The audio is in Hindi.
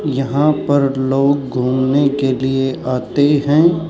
यहां पर लोग घूमने के लिए आते हैं।